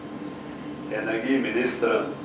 energiministeren